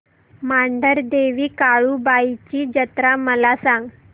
मांढरदेवी काळुबाई ची जत्रा मला सांग